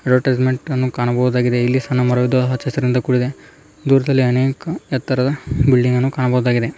ಅಡ್ವಟೈಸ್ಮೆಂಟನ್ನು ಕಾಣಬಹುದಾಗಿದೆ ಇಲ್ಲಿ ಸಣ್ಣ ಮರದಿಂದ ಹಚ್ಚಹಸಿರಿಂದ ಕೂಡಿದೆ ದೂರದಲ್ಲಿ ಅನೇಕ ಎತ್ತರದ ಬಿಲ್ಡಿಂಗನ್ನು ಕಾಣಬಹುದಾಗಿದೆ .